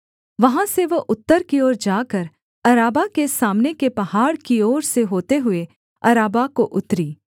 वहाँ से वह उत्तर की ओर जाकर अराबा के सामने के पहाड़ की ओर से होते हुए अराबा को उतरी